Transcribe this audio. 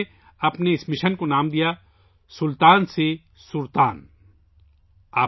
انھوں نے اپنے اس مشن کو'سلطان سے سر تان' کا نام دیا